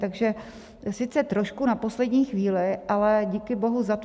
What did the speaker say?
Takže sice trošku na poslední chvíli, ale díky bohu za to.